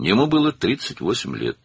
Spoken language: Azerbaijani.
Onun 38 yaşı var idi.